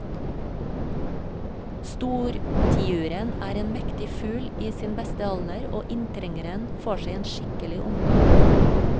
Stortiuren er en mektig fugl i sin beste alder, og inntrengeren får seg en skikkelig omgang.